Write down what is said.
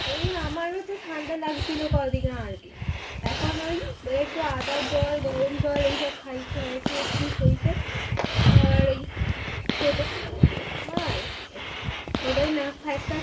এই আমার ও তো ঠান্ডা লাগছিলো কদিন আগে এখন ওই একটু আদার জল গরম জল খাই খেয়ে খেয়ে টিক হয়েছে আর এই ছোটো মার